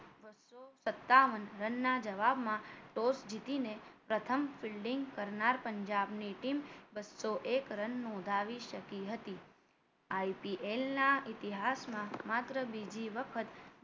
સતાવન રનના જવાબમાં toss જીતીને પ્રથમ fielding કરનાર પંજાબની team બ સો એક run નોંધાવી શકી હતી IPL ના ઇતિહાસમાં માત્ર બીજી વખત